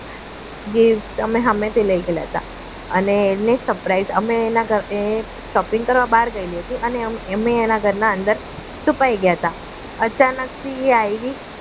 gift અમે સામેથી લઈ ગયેલા હતા અને એને surprise અમે એના ઘરે અમે shopping કરવા બહાર ગયેલી હતી એના ઘરના અંદર છુપાઈ ગયા હતા અચાનકથી એ આવી